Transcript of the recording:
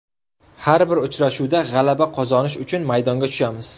Har bir uchrashuvda g‘alaba qozonish uchun maydonga tushamiz.